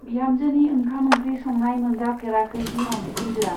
बिहामजोनि ओंखाम-ओंख्रि संनाय मोनजाफेराखै बिहाव बिखुनजोआ।